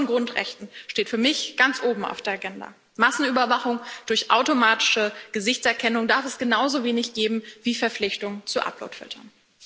Der Schutz von Grundrechten steht für mich ganz oben auf der Agenda. Massenüberwachung durch automatische Gesichtserkennung darf es genauso wenig geben wie Verpflichtung zu Uploadfiltern.